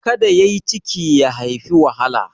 Ka da yai ciki ya haifi wahala.